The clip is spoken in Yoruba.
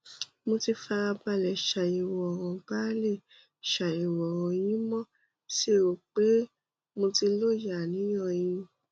mo ti farabalẹ̀ ṣàyẹ̀wò ọ̀ràn balẹ̀ ṣàyẹ̀wò ọràn yín mo sì rò pé mo ti lóye àníyàn yín